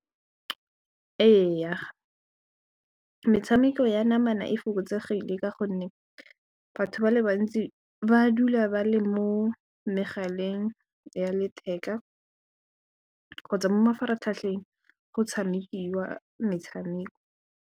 Ee metshameko ya namana e fokotsegile ka gonne batho ba le bantsi ba dula ba le mo megaleng ya letheka kgotsa mo mafaratlhatlheng go tshamekiwa metshameko.